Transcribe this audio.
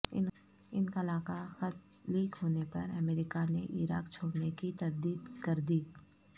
انخلا کا خط لیک ہونے پر امریکا نے عراق چھوڑنے کی تردید کر دی